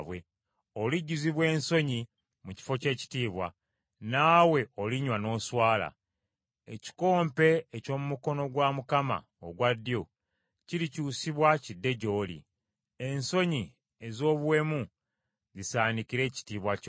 Olijjuzibwa ensonyi mu kifo ky’ekitiibwa. Naawe olinywa n’oswala. Ekikompe eky’omu mukono gwa Mukama ogwa ddyo kirikyusibwa kidde gy’oli, n’ensonyi ez’obuwemu zisaanikire ekitiibwa kyo.